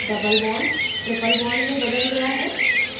double bond triple bond में बदल जाता है